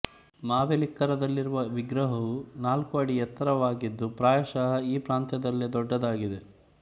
ಮಾವೆಲಿಕ್ಕರದಲ್ಲಿರುವ ವಿಗ್ರಹವು ನಾಲ್ಕು ಅಡಿ ಎತ್ತರವಾಗಿದ್ದು ಪ್ರಾಯಶಃ ಈ ಪ್ರಾಂತ್ಯದಲ್ಲೇ ದೊಡ್ಡದಾಗಿದೆ